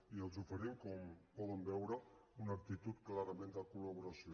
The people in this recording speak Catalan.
i els oferim com poden veure una actitud clarament de col·laboració